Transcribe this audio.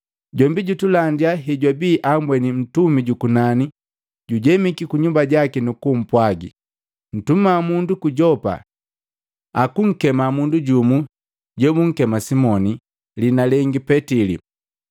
Jombi jutulandi hejwabi ambweni mtumi jukunani jujemiki kunyumba jaki nukumpwagi. ‘Ntuma mundu ku Yopa jukunkema mundu jumu jobunkema Simoni, liina lengi Petili.